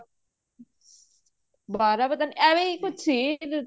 ਬਾਰਾਂ ਪਤਾ ਨਹੀ ਐਵੇ ਹੀ ਕੁੱਝ ਸੀ